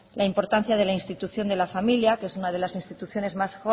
la importancia de la institución de la familia que es una de las instituciones mejor